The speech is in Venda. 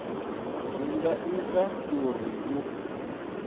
zwi nga ita uri hu